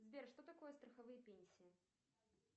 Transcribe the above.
сбер что такое страховые пенсии